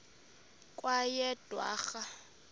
kweyedwarha